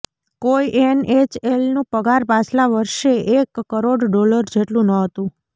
કોઈ એનએચએલનું પગાર પાછલા વર્ષે એક કરોડ ડોલર જેટલું ન હતું